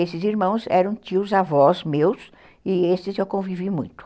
Esses irmãos eram tios-avós meus, e esses eu convivi muito.